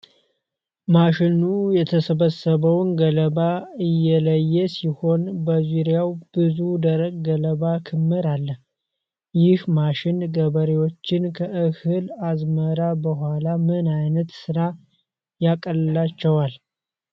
ማሽኑ የተሰበሰበውን ገለባ እየለየ ሲሆን፣ በዙሪያው ብዙ ደረቅ ገለባ ክምር አለ። ይህ ማሽን ገበሬዎችን ከእህል አዝመራ በኋላ ምን ዓይነት ሥራ ያቀልላቸዋል?